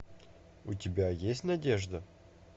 у тебя есть надежда